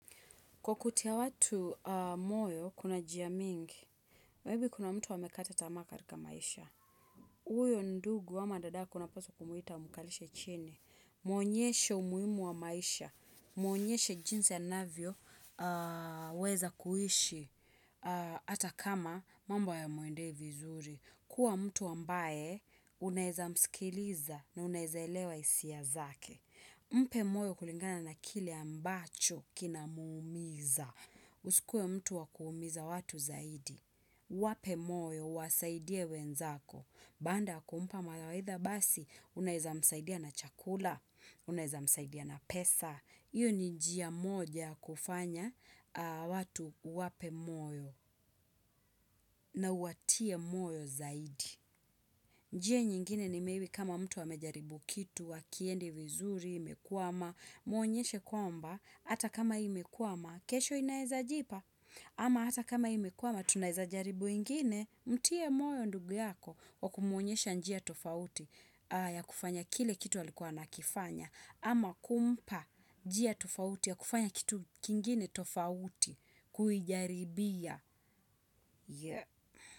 Kwa kutia watu moyo, kuna jia mingi. Maybe kuna mtu amekata tamaa katika maisha. Uyo ndugu ama dadako unapaswa kumuita umukalishe chini. Mwonyeshe umuhimu wa maisha. Mwonyeshe jinsi anavyoweza kuhishi. Ata kama mambo hayamwendei vizuri. Kuwa mtu ambaye unaeza mskiliza na unaeza elewa isia zake. Mpe moyo kulingana na kile ambacho kina muumiza. Usikue mtu wakuumiza watu zaidi. Wape moyo, wasaidie wenzako. Baanda kumpa mawaitha basi, unaeza msaidia na chakula, unaeza msaidia na pesa. Iyo ni njia moja kufanya watu wape moyo na uwatie moyo zaidi. Njia nyingine ni maybe kama mtu amejaribu kitu, hakiendi vizuri, imekwama, muonyeshe kwamba. Hata kama imekwama, kesho inaeza jipa. Ama hata kama imekwama tunaeza jaribu ingine, mtie moyo ndugu yako kwa kumuonyesha njia tofauti ya kufanya kile kitu alikuwa anakifanya. Ama kumpa njia tofauti ya kufanya kitu kingine tofauti kuijaribia.